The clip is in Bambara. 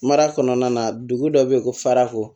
Mara kɔnɔna na dugu dɔ bɛ yen ko farako